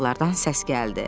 Dağlardan səs gəldi.